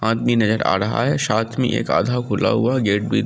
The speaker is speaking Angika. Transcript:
आदमी नजर आ रहा है साथ में एक आध खुला हुआ गेट भी --